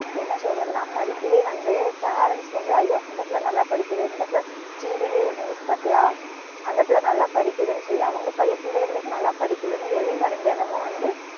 என்ன சொல்றதுனா, படிப்பிலே வந்து parents வந்து, ஐயோ அந்த புள்ள நல்லா படிக்குது இந்த புள்ள TV லே ஒரு news பாத்தியா, அந்த புள்ள நல்லா படிக்குதுனு சொல்லி அவங்க பைய~ பிள்ளைய வரைக்கும் நல்லா படிக்குதுனு எலி மருந்து எண்ணமோ வந்து